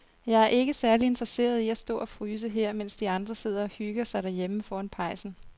Jeg er ikke særlig interesseret i at stå og fryse her, mens de andre sidder og hygger sig derhjemme foran pejsen.